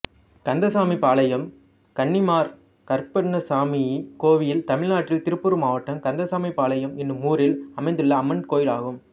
காத்தசாமிபாளையம் கன்னிமார் கருப்பண்ணசுவாமி கோயில் தமிழ்நாட்டில் திருப்பூர் மாவட்டம் காத்தசாமிபாளையம் என்னும் ஊரில் அமைந்துள்ள அம்மன் கோயிலாகும்